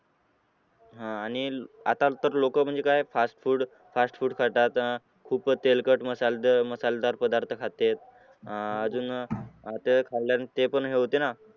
आह आणि आता तर लोक म्हणजे काय fast food, fast food खातात खूपच तेलकट मसाले मसालेदार पदार्थ खात्यात अह अजून ते खाल्ल्याने ते पण हे होते ना